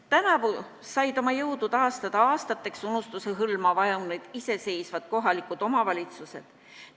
Tänavu said oma jõudu taastada aastateks unustuse hõlma vajunud iseseisvad kohalikud omavalitsused.